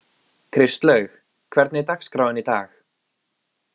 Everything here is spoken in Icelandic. Kristlaug, hvernig er dagskráin í dag?